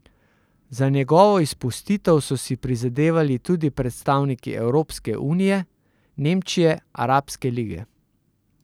Za njegovo izpustitev so si prizadevali tudi predstavniki Evropske unije, Nemčije, Arabske lige.